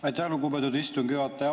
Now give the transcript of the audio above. Aitäh, lugupeetud istungi juhataja!